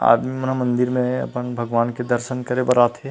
आदमी मन ह मंदिर में अपन भगवान के दर्शन करे बर आथे--